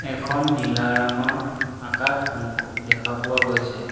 এখন নীলা ৰঙৰ আকাশ মোক দেখা পোৱা গৈছে।